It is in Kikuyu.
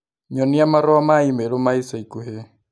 Nyonia marũa ma i-mīrū ma ica ikuhĩ